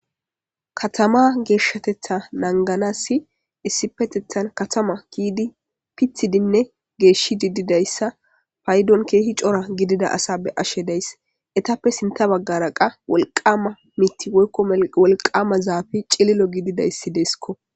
Katama geshshateththa naganassi issippeteththan katama gidinine pitidinne geshdhidi didayissa payiddonni kehi cora gidida asa be'ashshe dayis.etappe sintta bagara qaa Wolqamma mitti woyikko wolqama zafeyi cililo gidodayiss desikko.